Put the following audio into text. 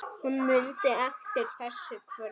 Hún mundi eftir þessu kvöldi.